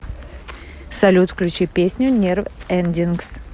салют включи песню нерв эндингс